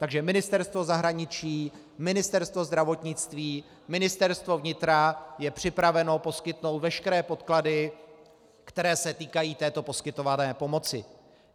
Takže Ministerstvo zahraničí, Ministerstvo zdravotnictví, Ministerstvo vnitra je připraveno poskytnout veškeré podklady, které se týkají této poskytované pomoci.